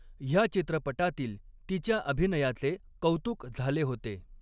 ह्या चित्रपटातील तिच्या अभिनयाचे कौतुक झाले होते.